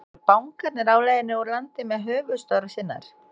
Eru bankarnir á leiðinni úr landi með höfuðstöðvar sínar?